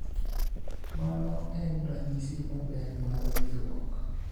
mano en ranyisi maber mar wrinjruok